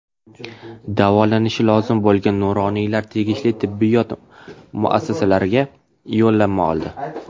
Davolanishi lozim bo‘lgan nuroniylar tegishli tibbiyot muassasalariga yo‘llanma oldi.